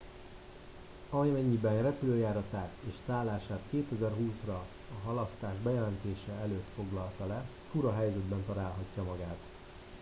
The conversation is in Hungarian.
amennyiben repülőjáratát és szállását 2020 ra a halasztás bejelentése előtt foglalta le fura helyzetben találhatja magát